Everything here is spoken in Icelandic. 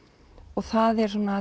og það er